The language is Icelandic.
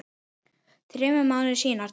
Þremur mánuðum síðar tók